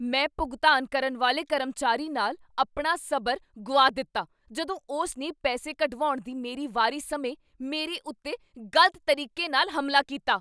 ਮੈਂ ਭੁਗਤਾਨ ਕਰਨ ਵਾਲੇ ਕਰਮਚਾਰੀ ਨਾਲ ਆਪਣਾ ਸਬਰ ਗੁਆ ਦਿੱਤਾ ਜਦੋਂ ਉਸ ਨੇ ਪੈਸੇ ਕਢਵਾਉਣ ਦੀ ਮੇਰੀ ਵਾਰੀ ਸਮੇਂ ਮੇਰੇ ਉੱਤੇ ਗ਼ਲਤ ਤਰੀਕੇ ਨਾਲ ਹਮਲਾ ਕੀਤਾ।